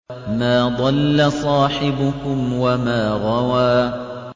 مَا ضَلَّ صَاحِبُكُمْ وَمَا غَوَىٰ